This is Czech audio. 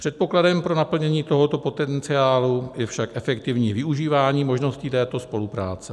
Předpokladem pro naplnění tohoto potenciálu je však efektivní využívání možností této spolupráce.